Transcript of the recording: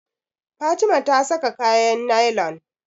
Fatima ta saka kayan nailan.